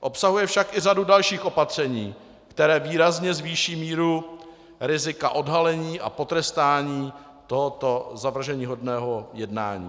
Obsahuje však i řadu dalších opatření, která výrazně zvýší míru rizika odhalení a potrestání tohoto zavrženíhodného jednání.